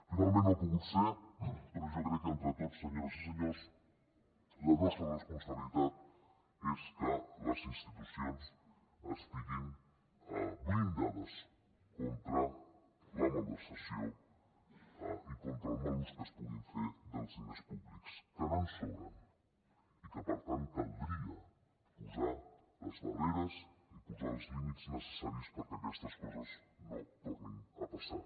finalment no ha pogut ser però jo crec que entre tots senyores i senyors la nostra responsabilitat és que les institucions estiguin blindades contra la malversació i contra el mal ús que es pugui fer dels diners públics que no en sobren i que per tant caldria posar les barreres i posar els límits necessaris perquè aquestes coses no tornin a passar